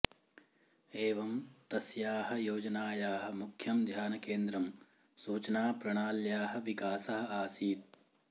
एवं तस्याः योजनायाः मुख्यं ध्यानकेन्द्रं सूचनाप्रणाल्याः विकासः आसीत्